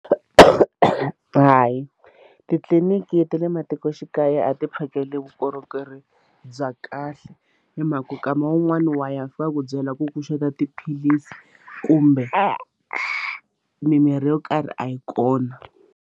Hayi titliliniki ta le matikoxikaya a ti phakeli vukorhokeri bya kahle hi mhaka ku kama wun'wani wa ya va fika ku byela ku ku xota tiphilisi kumbe mimirhi yo karhi a yi kona.